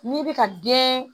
N'i bɛ ka den